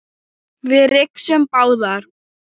Við rigsum báðar.